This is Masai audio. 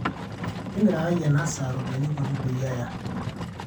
timirakaki ena saa ropiyani kutik peyie aya